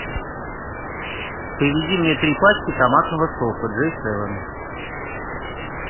привези мне три пачки томатного сока джей севен